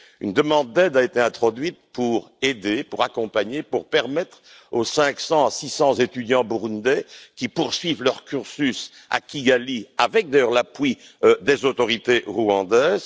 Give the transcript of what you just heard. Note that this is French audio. Une demande d'aide a été introduite pour permettre aux 500 à 600 étudiants burundais de poursuivre leur cursus à Kigali avec d'ailleurs l'appui des autorités rwandaises.